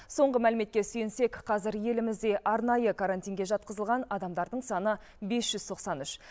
соңғы мәліметке сүйенсек қазір елімізде арнайы карантинге жатқызылған адамдардың саны бес жүз тоқсан үш